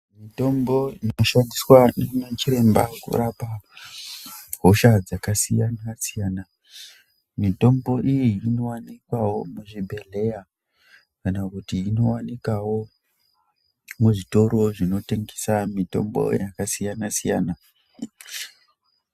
Mitombo inoshandiswa nanachiremba kurapa hosha dzakasiyanasiyana mitombo iyi inowanikwawo muzvibhedhleya kana kuti unowanikawo muzvitoro zvinotengesa mitombo yakasiyanasiyana.